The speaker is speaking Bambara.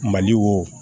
Mali wo